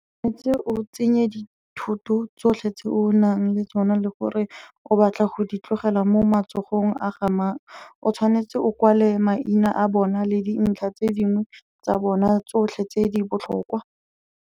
O tshwanetse o tsenye dithoto tsotlhe tse o nang le tsona le gore o batla go di tlogela mo matsogong a ga mang, o tshwanetse o kwale maina a bona le dintlha tse dingwe tsa bona tsotlhe tse di botlhokwa.